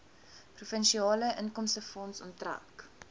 provinsiale inkomstefonds onttrek